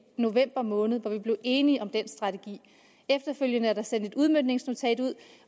november måned hvor vi blev enige om den strategi efterfølgende er der sendt et udmøntningsnotat ud